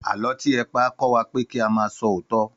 Àlọ́ tí ẹ pa kọ́ wa pé kí a máa ṣòótọ́